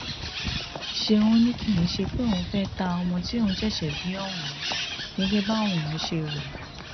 ṣéun ni kì í ṣe pé òun fẹẹ ta ọmọ tí òun ṣẹṣẹ bí ohun gẹgẹ báwọn èèyàn ṣe rò